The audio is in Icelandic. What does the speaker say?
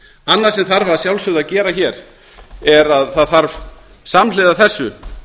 annað sem þarf að sjálfsögðu að gera hér er að það þarf samhliða þessu